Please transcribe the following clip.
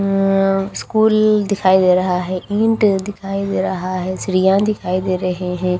अ school दिखाई दे रहा है ईंट दिखाई दे रहा है सरिया दिखाई दे रहे है।